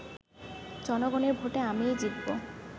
জনগণের ভোটে আমিই জিতব